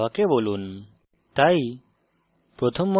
এখন কি print করতে হবে তা জাভাকে বলুন